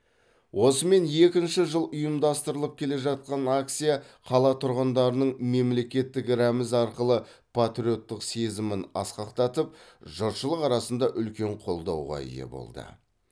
осымен екінші жыл ұйымдастырылып келе жатқан акция қала тұрғындарының мемлекеттік рәміз арқылы патриоттық сезімін асқақтатып жұртшылық арасында үлкен қолдауға ие болды